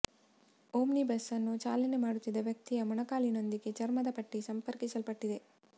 omnibus ಅನ್ನು ಚಾಲನೆ ಮಾಡುತ್ತಿದ್ದ ವ್ಯಕ್ತಿಯ ಮೊಣಕಾಲಿನೊಂದಿಗೆ ಚರ್ಮದ ಪಟ್ಟಿ ಸಂಪರ್ಕಿಸಲ್ಪಟ್ಟಿದೆ